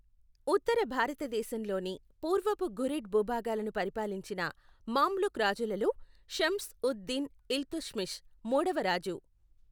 ఉత్తర భారతదేశంలోని పూర్వపు ఘురిడ్ భూభాగాలను పరిపాలించిన మామ్లుక్ రాజులలో షమ్స్ ఉద్ దిన్ ఇల్తుత్మిష్ మూడవరాజు.